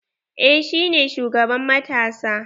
Eh shi ne shugaban matasa.